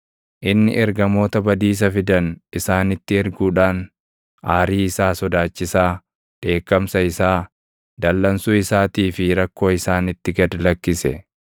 Inni ergamoota badiisa fidan isaanitti erguudhaan aarii isaa sodaachisaa, dheekkamsa isaa, dallansuu isaatii fi rakkoo isaanitti gad lakkise.